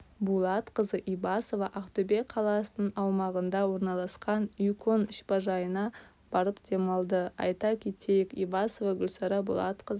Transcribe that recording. булатқызы ибасова ақтөбе қаласының аумағында орналасқан юкон шипажайына барып демалды айта кетейік ибасова гульсара булатқызы